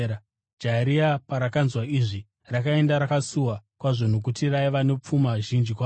Jaya riya parakanzwa izvi, rakaenda rakasuwa kwazvo nokuti raiva nepfuma zhinji kwazvo.